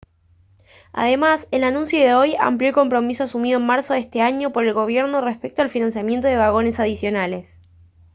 además el anuncio de hoy amplió el compromiso asumido en marzo de este año por el gobierno respecto al financiamiento de vagones adicionales